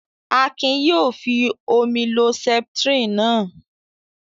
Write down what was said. Akin yóò fi omi lo Septrin náà.